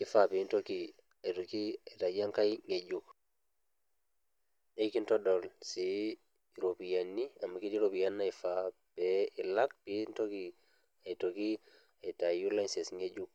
eifaa piintoki aitoki aitayu engai ng'ejuk. Neeikintodol sii iropiyani amu ketii iropiyani naifaa pee ilak piintoki aitoki aitayu license ng'ejuk.